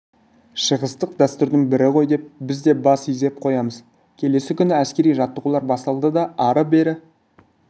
шығыстық дәстүрдің бірі ғой деп біз де бас изесіп қоямыз келесі күні әскери жаттығулар басталды ары-бері